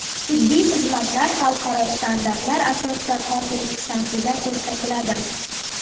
Tibbiy xizmatlar xalqaro standartlar asosida kompleks tarzda ko‘rsatiladi.